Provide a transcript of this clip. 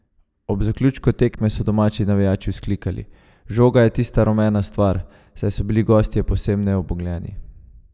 Ob zaključku tekme so domači navijači vzklikali: "Žoga je tista rumena stvar", saj so bili gostje povsem nebogljeni.